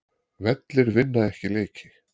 Vellir vinna ekki leiki